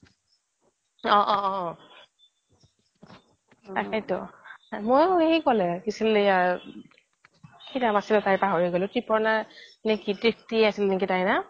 অহ অহ অহ তাকেইটো মোইও সেই ক'লে কি আছিল এইয়া কি নাম আছিল তাইৰ পাহৰি গলো কৃপনা নে কৃতিকি আছিল তাইৰ নাম